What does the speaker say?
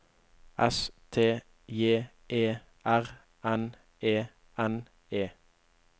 S T J E R N E N E